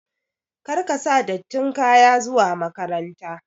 Kar ka sa dattin kaya zuwa makaranta!